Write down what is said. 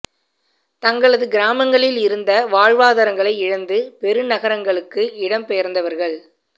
தங்களது கிராமங்களில் இருந்த வாழ்வாதாரங்களை இழந்து பெரு நகரங்களுககு இடம் பெயர்ந்தவர்கள்